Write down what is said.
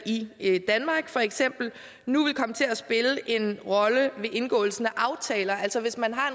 i i danmark for eksempel nu vil komme til at spille en rolle ved indgåelsen af aftaler altså at hvis man har